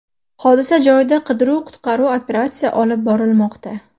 Hodisa joyida qidiruv-qutqaruv operatsiya olib borilmoqda.